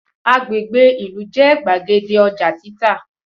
Agbègbè ìlú jẹ́ gbàgede ọjà títà